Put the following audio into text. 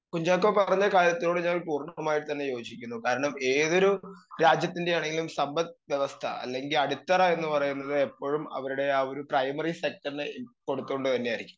speaker 2 Kunchacko പറഞ്ഞ കാര്യത്തോട് ഞാൻ പൂർണ്ണമായും യോജിക്കുന്നു കാരണം ഏതൊരു രാജ്യത്തിൻ്റെയാണെങ്കിലും സമ്പദ്വ്യവസ്ഥ അല്ലെങ്കി അടിത്തറ എന്ന് പറയുന്നത് എപ്പഴും അവരുടെ ആ ഒരു പ്രൈമറി സെറ്റർനെ കൊടുത്തോണ്ട് തന്നെയായിരിക്കും